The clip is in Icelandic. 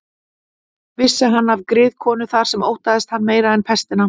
Vissi hann af griðkonu þar sem óttaðist hann meira en pestina.